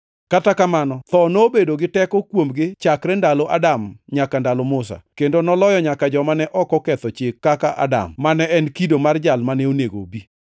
Kata kamano, tho nobedo gi teko kuomgi chakre ndalo Adam nyaka ndalo Musa, kendo noloyo nyaka joma ne ok oketho chik kaka Adam, mane en kido mar Jal mane onego obi.